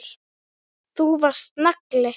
Þú varst nagli.